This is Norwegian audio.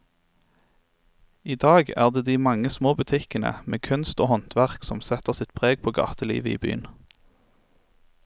I dag er det de mange små butikkene med kunst og håndverk som setter sitt preg på gatelivet i byen.